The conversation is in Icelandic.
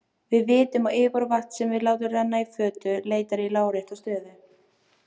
Við vitum að yfirborð vatns sem við látum renna í fötu leitar í lárétta stöðu.